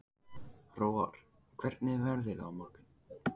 Hróar, hvernig er veðrið á morgun?